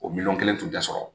O miliyɔn kelen tun tɛ sɔrɔ.